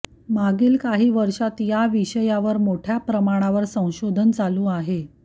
मागील काही वर्षांत या विषयावर मोठ्या प्रमाणावर संशोधन चालू आहे